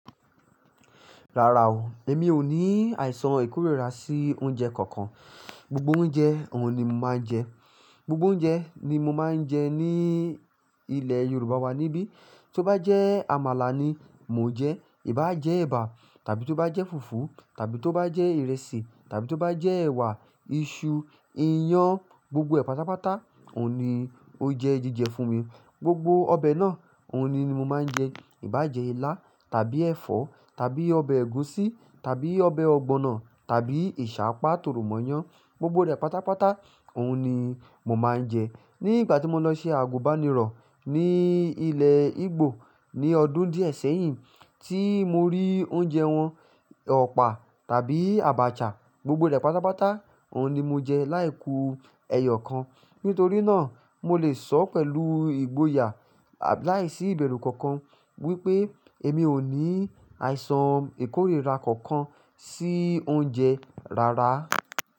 Rárá o, èmi ò ní àìsàn ìkórìíra sí oúnjẹ kankan. Gbogbo oúnjẹ òun ni mo máa ń jẹ. Gbogbo oúnjẹ ni mo máa ń jẹ ní ilẹ̀ Yorùbá wa níbí. Tí ó bá jẹ́ àmàlà ni mo jẹ, ì bá jẹ́ ẹ̀bà, tàbí tó bá jẹ́ fùfú, tàbí tó bá jẹ́ ìrẹsì, tàbí tó bá jẹ́ ẹ̀wà, iṣu, iyán, gbogbo rẹ̀ pátápátá òun ni ó jẹ jíjẹ fún mi. Gbogbo ọbẹ̀ náà òun ni mo máa ń jẹ. Ibá jẹ ilá tàbí ẹ̀fọ́, tàbí ọbẹ̀ ẹ̀gúsí, tàbí ọbẹ̀ ọ̀gbọ̀nọ̀, tàbí ìsàpá tòròmọ̀yán, gbogbo rẹ̀ pátápátá òun ni mo máa ń jẹ. Ní ìgbà tí mo lọ sí àgùnbánirọ̀ ní ilẹ̀ Igbo ní ọdún díẹ̀ sẹ́yìn tí mo rí oúnjẹ wọn, ọ̀pà tàbí àbàchà gbogbo rẹ̀ pátápátá òun ni mo jẹ láìku ẹyọ kan. Nítorí náà mo lè sọ́ pẹ̀lú ìgboyà láìsí ìbẹ̀rù kankan wípé èmi ò ní àìsàn ìkórìíra kankan sí oúnjẹ rárá.